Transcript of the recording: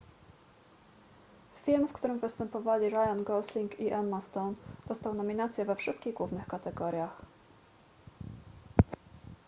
film w którym występowali ryan gosling i emma stone dostał nominacje we wszystkich głównych kategoriach